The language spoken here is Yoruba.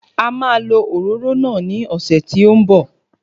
A máa lo òróró náà ní ọ̀sẹ̀ tí ó ń bọ̀